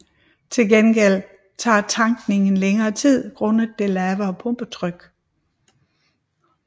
Til gengæld tager tankningen længere tid grundet det lavere pumpetryk